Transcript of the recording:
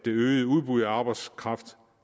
øget udbud af arbejdskraft